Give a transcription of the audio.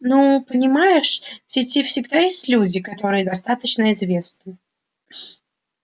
ну понимаешь сети всегда есть люди которые достаточно известны